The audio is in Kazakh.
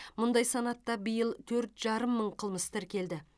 мұндай санатта биыл төрт жарым мың қылмыс тіркелді